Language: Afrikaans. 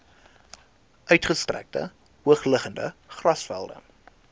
uitgestrekte hoogliggende grasvelde